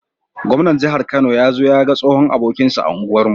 Gwamnan jahar kano yazo yaga tsohon abokinsa a unguwar mu